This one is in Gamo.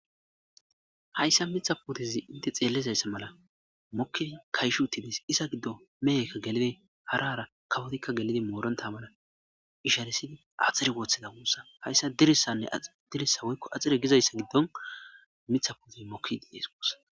hayssa mitha putizi inte xeelizayssa mala mokki kayshu tinis isa giddo mehekka gelidi harara kawotikka gelidi mooron tamana isharesidi axiri wooththeda wuussa hayssa dirissanne dirissa woykko axire gizayssa giddon mitha putiz mokki diiees gossa